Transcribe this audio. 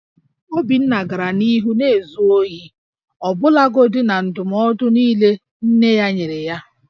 Obinna gara n'ihu na-ezu ohi ọbụlagodi na ndụmọdụ niile nne ya nyere ya